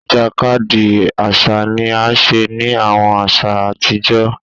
Ìjàkadì àṣà ni a ṣe ni àwọn aṣa àtijọ́